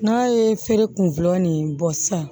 N'a ye feere kun fɔlɔ nin bɔ sisan